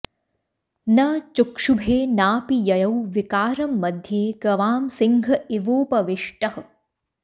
न चुक्षुभे नापि ययौ विकारं मध्ये गवां सिंह इवोपविष्टः